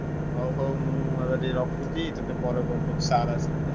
ହଉ ହଉ ମୁଁ ରଖୁଛି ତତେ ଟିକେ ପରେ phone କରୁଛି sir ଆସିଲେଣି।